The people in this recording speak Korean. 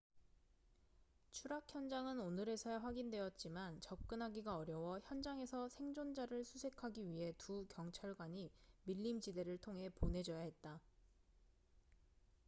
추락 현장은 오늘에서야 확인되었지만 접근하기가 어려워 현장에서 생존자를 수색하기 위해 두 경찰관이 밀림 지대를 통해 보내져야 했다